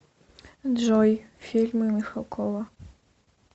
джой фильмы михалкова